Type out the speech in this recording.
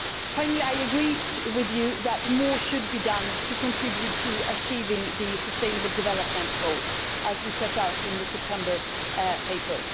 Finally, I agree with you that more should be done to contribute to achieving the Sustainable Development Goals, as we set out in the September paper.